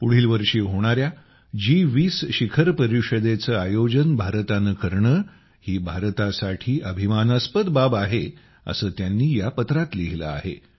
पुढील वर्षी होणाऱ्या जी20 परिषदेचे आयोजन भारताने करणे हि भारतासाठी अभिमानास्पद बाब आहे असे त्यांनी या चिठ्ठीत लिहिले आहे